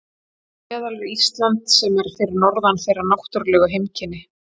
Þar á meðal er Ísland sem er fyrir norðan þeirra náttúrlegu heimkynni.